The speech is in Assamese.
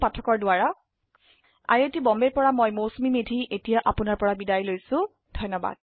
এই পাঠটি অৰুন পাঠকে যোগদান কৰিছে আই আই টী বম্বে ৰ পৰা মই মৌচুমী মেধী এতিয়া আপুনাৰ পৰা বিদায় লৈছো যোগদানৰ বাবে ধন্যবাদ